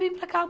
Vem para cá!